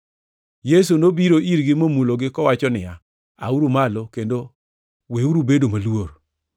Yesu nobiro irgi momulogi, kowacho niya, “Auru malo, kendo weuru bedo maluor.”